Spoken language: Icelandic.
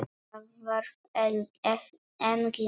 Það þarf engin orð.